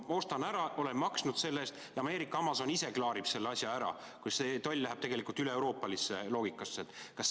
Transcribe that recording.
Ma ostan ära, ma olen maksnud selle eest ja Ameerika Amazon ise klaarib selle asja ära, kui see tollimaks läheb üleeuroopalisse loogikasse.